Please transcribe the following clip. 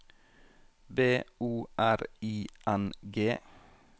B O R I N G